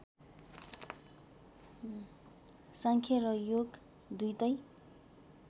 सांख्य र योग दुईटै